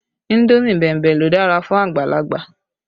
Indomi bẹ̀mbẹ̀ ló dára fún àgbàlagbà